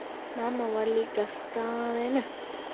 Mamma var líka staðin upp.